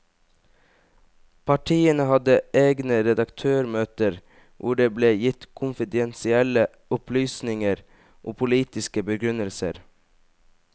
Partiene hadde egne redaktørmøter hvor det ble gitt konfidensielle opplysninger og politiske begrunnelser.